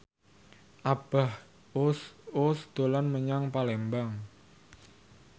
Abah Us Us dolan menyang Palembang